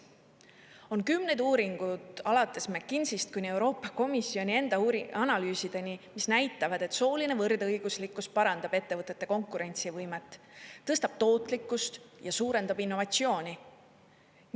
On kümneid uuringud, alates … kuni Euroopa Komisjoni enda analüüsideni, mis näitavad, et sooline võrdõiguslikkus parandab ettevõtete konkurentsivõimet, tõstab tootlikkust ja suurendab innovatsiooni.